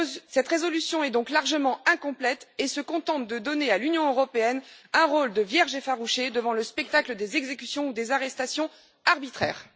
Cette résolution est donc largement incomplète et se contente de donner à l'Union européenne un rôle de vierge effarouchée devant le spectacle des exécutions ou des arrestations arbitraires.